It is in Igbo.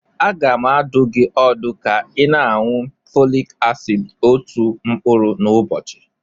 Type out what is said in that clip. Aga m adụ gị ọdụ ka ị na-aṅụ Folik asid otu mkpụrụ n'ụbọchị.